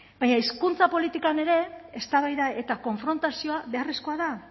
baina hizkuntza politika ere eztabaida eta konfrontazioa beharrezkoa da